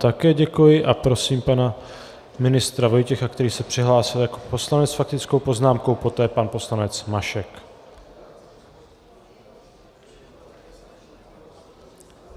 Také děkuji a prosím pana ministra Vojtěcha, který se přihlásil jako poslanec s faktickou poznámkou, poté pan poslanec Mašek.